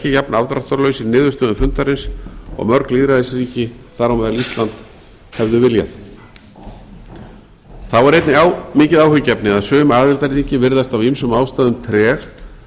jafn afdráttarlaus í niðurstöðum fundarins og mörg lýðræðisríki þar á meðal ísland hefðu viljað þá er einnig mikið áhyggjuefni að sum aðildarríki virðast af ýmsum ástæðum treg